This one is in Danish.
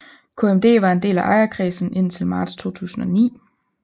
KMD var en del af ejerkredsen indtil marts 2009